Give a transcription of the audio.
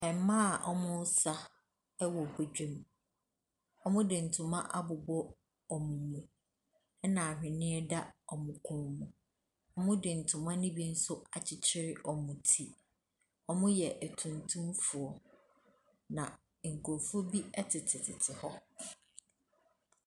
Mmaa a wɔresa wɔ badwam. Wɔde ntoma abobɔ wɔn mu, ɛna ahweneɛ sa wɔn kɔn mu. Wɔde ntoma nso bi nso akyekyere wɔn ti. Wɔyɛ atuntumfoɔ. Na nkurɔfoɔ bi tetetete hɔ.